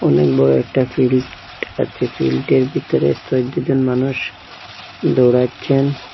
অনেক বড়ো একটা ফিল্ড আছে ফিল্ডের ভিতরে মানুষ দৌড়াচ্ছেন।